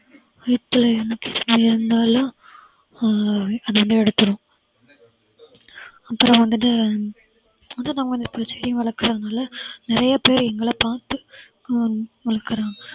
வயித்துல எதனா அஹ் அது வந்து எடுத்துடும் அப்புறம் வந்துட்டு பூச்செடியும் வளர்க்கறாங்க இல்ல நிறைய பேரு எங்களைப் பார்த்து ஹம் வளர்க்கறாங்க